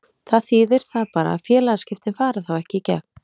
Það þýðir það bara að félagaskiptin fara þá ekki í gegn.